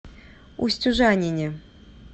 устюжанине